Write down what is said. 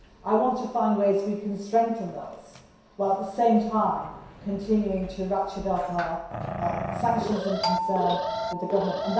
I want to find ways we can strengthen this while, at the same time, continuing to ratchet up our sanctions and concern with the government.